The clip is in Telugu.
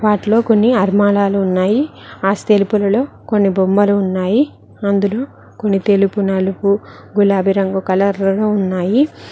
వాటిలో కొన్ని ఆల్మరాలు ఉన్నాయి ఆ సెల్ఫ్యూలల్లో కొన్ని బొమ్మలు ఉన్నాయి అందులో కొన్ని తెలుపు నలుపు గులాబీ రంగు కలర్లలో ఉన్నాయి.